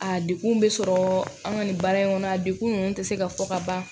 A degun bɛ sɔrɔ an ka nin baara in kɔnɔ a dekun ninnu tɛ se ka fɔ ka ban